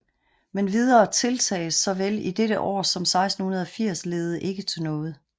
Men videre tiltag såvel i dette år som 1680 ledede ikke til noget